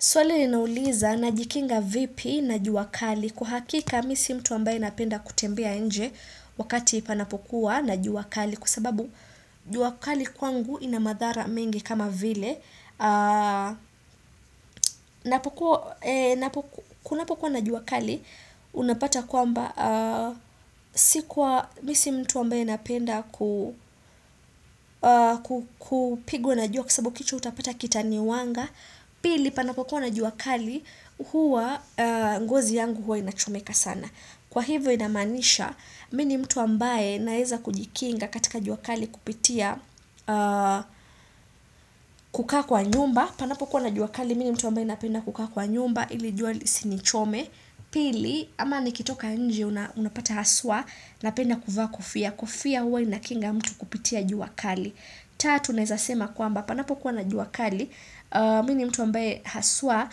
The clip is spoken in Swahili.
Suali inauliza najikinga vipi na jua kali kwa hakika mimi si mtu ambaye napenda kutembea nje wakati panapokuwa na juwa kali kusababu jua kali kwangu ina madhara mengi kama vile. Kunapokuwa na juwa kali unapata kwamba sikuwa mimi si mtu ambaye napenda kupigwa na juwa kwasabu kitu utapata kitani wanga. Pili panapo kuwa na juwa kali huwa ngozi yangu huwa inachomeka sana Kwa hivyo inamanisha mi ni mtu ambaye naeza kujikinga katika juwa kali kupitia kukaa kwa nyumba panapo kuwa na juwa kali mi ni mtu ambaye napenda kukaa kwa nyumba ili jua lisinichome Pili ama nikitoka njie unapata haswa napenda kuvaa kofia kofia huwa inakinga mtu kupitia juwa kali Tatu naizasema kwamba, panapo kuwa na juakali, mi ni mtu ambaye haswa